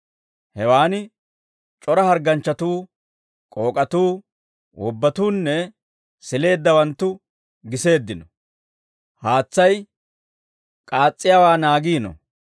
Hewaan c'ora hargganchchatuu, k'ook'atuu, wobbatuunne sileeddawanttu giseeddino. [Haatsay k'aas's'iyaawaa naagiino.